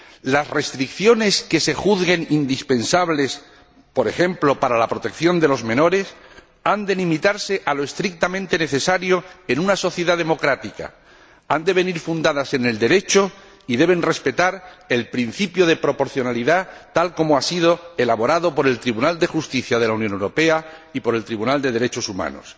Las restricciones que se juzguen indispensables, por ejemplo, para la protección de los menores, han de limitarse a lo estrictamente necesario en una sociedad democrática, han de venir fundadas en el Derecho y deben respetar el principio de proporcionalidad, tal como ha sido elaborado por el Tribunal de Justicia de la Unión Europea y por el Tribunal de Derechos Humanos.